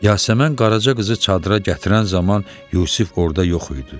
Yasəmən Qaraca qızı çadıra gətirən zaman Yusif orda yox idi.